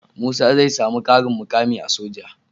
Musa zai samu karin mukami a soja